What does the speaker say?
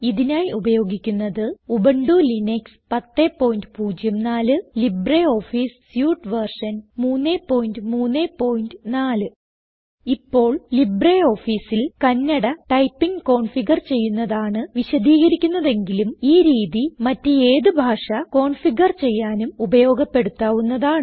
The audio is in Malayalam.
ഇതിനായി ഉപയോഗിക്കുന്നത് Ubuntu Linux 1004 LibreOffice suite version 334 ഇപ്പോൾ LibreOfficeൽ കണ്ണട ടൈപ്പിംഗ് കോൺഫിഗർ ചെയ്യുന്നതാണ് വിശദീകരിക്കുന്നതെങ്കിലും ഈ രീതി മറ്റ് ഏത് ഭാഷ കൺഫ്യൂഗർ ചെയ്യാനും ഉപയോഗപ്പെടുത്താവുന്നതാണ്